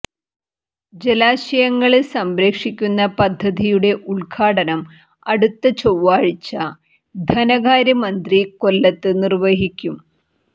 ജലാശയങ്ങള് സംരക്ഷിക്കുന്ന പദ്ധതിയുടെ ഉദ്ഘാടനം അടുത്ത ചൊവ്വാഴ്ച ധനകാര്യ മന്ത്രി കൊല്ലത്ത് നിര്വഹിക്കും